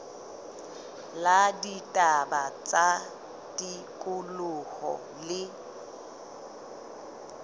la ditaba tsa tikoloho le